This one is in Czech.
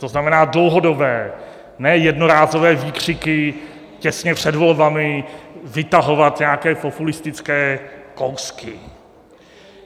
To znamená dlouhodobé, ne jednorázové výkřiky, těsně před volbami vytahovat nějaké populistické kousky.